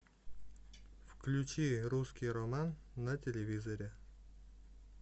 включи русский роман на телевизоре